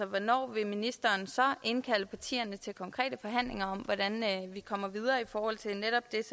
hvornår vil ministeren så indkalde partierne til konkrete forhandlinger om hvordan vi kommer videre i forhold til netop det